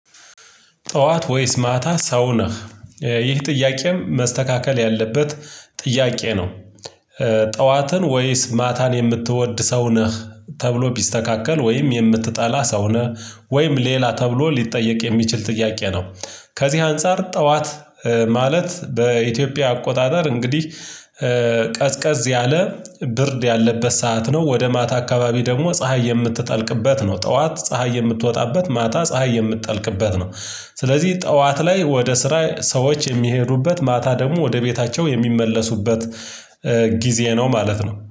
ጠዋት ወይስ ማታ ሰው ነህ ይህ ጥያቄም መስተካከል ያለበት ጥያቄ ነው። ጠዋትን ወይስ ማታን የምትወድ ሰው ነህ ተብሎ ቢስተካከል ወይም የምትጠላ ሰው ነህ ወይም ሌላ ተብሎ ሊጠየቅ የሚችል ጥያቄ ነው። ከዚህ አንፃር ጠዋት ማለት በኢትዮጵያ አቆጣጠር እንግዲህ ቀዝቀዝ ያለ ብርድ ያለበት ሰዓት ነው። ወደ ማታ አካባቢ ደግሞ ፀሀይ የምትጠልቅበት ነው። ጠዋት ፀሀይ የምትወጣበት ማታ ፀሀይ የምትጠልቅበት ነው። ስለዚህ ጠዋት ላይ ወደ ስራ ሰዎች የሚሄዱበት ማታ ደግሞ ወደ ቤታቸው የሚመለሱበት ነው ማለት ነው